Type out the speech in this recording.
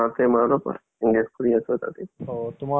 অহ forth grade টো দিছিলা ন, তাৰ result টো দিয়া নাই চাগে ন?